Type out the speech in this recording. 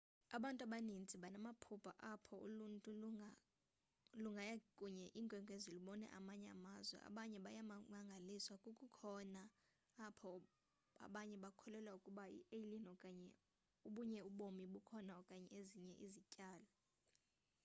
abantu abaninzi banamaphupha apho uluntu lungaya kwenye inkwenkwezi lubone amanye amazwe abanye bayamangaliswa kokukhoyo apho abanye bakholelwa ukuba i-alien okanye obunye ubomi bukhona okanye ezinye izityalo